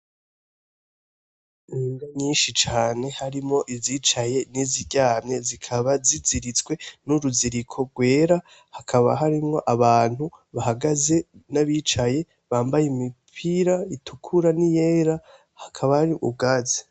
Imbwa nyinshi cane harimwo izicaye n'iziryamye zikaba ziziritswe n'uruziriko rwera hakaba harimwo abantu bahagaze n'abicaye bambaye imipira itukura niyera hakaba hari ubwatsi.